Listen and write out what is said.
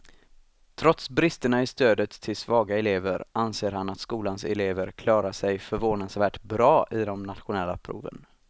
Trots bristerna i stödet till svaga elever anser han att skolans elever klarar sig förvånansvärt bra i de nationella proven.